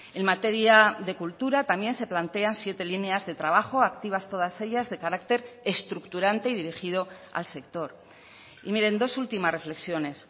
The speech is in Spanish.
en materia de cultura también se plantean siete líneas de trabajo activas todas ellas de carácter estructurante y dirigido al sector y miren dos últimas reflexiones